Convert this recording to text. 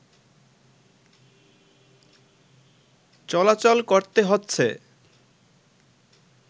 চলাচল করতে হচ্ছে